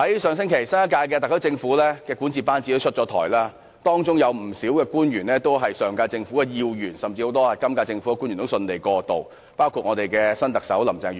上星期，新一屆特區政府的管治班子出台，當中不少官員都是本屆政府的要員，很多政府官員均能順利過渡，包括新特首林鄭月娥。